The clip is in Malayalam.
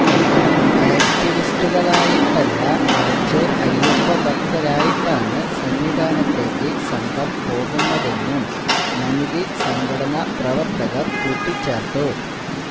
ആക്ടിവിസ്റ്റുകളായിട്ടല്ല മറിച്ച് അയപ്പഭക്തരായിട്ടാണ് സന്നിധാനത്തേക്ക് സംഘം പോകുന്നതെന്നും മനിതി സംഘടനാ പ്രവര്ത്തകര് കൂട്ടിച്ചേര്ത്തു